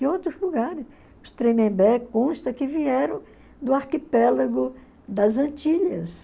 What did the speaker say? Em outros lugares, os Tremembé consta que vieram do arquipélago das Antilhas.